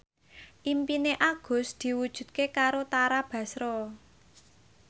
impine Agus diwujudke karo Tara Basro